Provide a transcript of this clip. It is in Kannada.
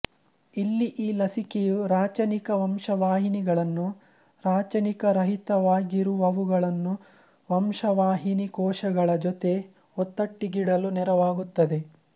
ಇಲ್ಲಿ ಈ ಲಸಿಕೆಯು ರಾಚನಿಕ ವಂಶವಾಹಿನಿಗಳನ್ನು ರಾಚನಿಕರಹಿತವಾಗಿರುವವುಗಳನ್ನು ವಂಶವಾಹಿನಿ ಕೋಶಗಳ ಜೊತೆ ಒತ್ತಟ್ಟಿಗಿಡಲು ನೆರವಾಗುತ್ತದೆ